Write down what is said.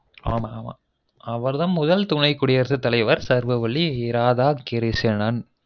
ஆமா ஆமா அவர் தான் முதல் துணை குடியரசு தலைவர் சர்வவள்ளி ராதாகிருஷ்ணன்